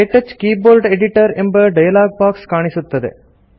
ಕ್ಟಚ್ keyboard editor ಎಂಬ dialog box ಕಾಣುತ್ತದೆ